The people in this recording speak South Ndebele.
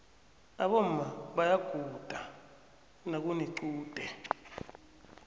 aboma bayaguda nakunequde